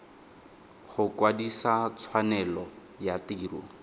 go kwadisa tshwanelo ya tiro